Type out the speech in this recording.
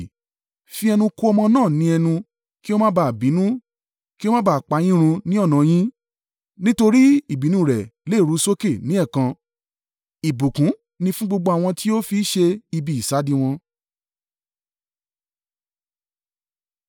Fi ẹnu ko ọmọ náà ní ẹnu, kí ó má ba à bínú, kí ó má ba à pa yín run ní ọ̀nà yín, nítorí ìbínú rẹ̀ lè ru sókè ní ẹ̀ẹ̀kan. Ìbùkún ni fún gbogbo àwọn tí ó fi í ṣe ibi ìsádi wọn.